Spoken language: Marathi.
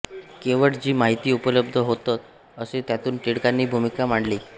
केवळ जी माहिती उपलब्ध होत्अ असे त्यातून टिळकांनी भूमिका मांडली